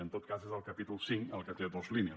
en tot cas és el capítol cinc el que té dos línies